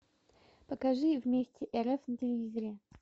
покажи вместе рф на телевизоре